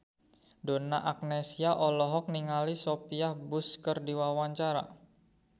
Donna Agnesia olohok ningali Sophia Bush keur diwawancara